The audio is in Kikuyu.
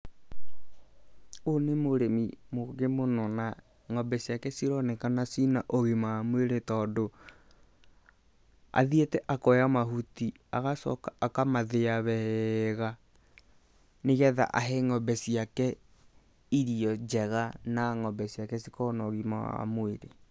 Ũyũ nĩ mũrĩmi mũgĩ mũno, na ng'ombe ciake cironekana ciĩ na ũgima wa mwĩrĩ tondũ, athĩite akoya mahuti agacoka akamathĩa wega, nĩ getha ahe ng'ombe ciake irio njega na ng'ombe ciake cikorwo na ũgima wa mwĩrĩ.